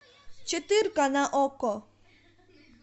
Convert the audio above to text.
четырка на окко